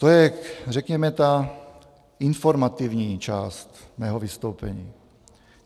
To je, řekněme, ta informativní část mého vystoupení.